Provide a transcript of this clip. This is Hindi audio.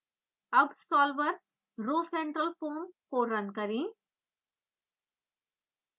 अब सॉल्वर rhocentralfoam को रन करें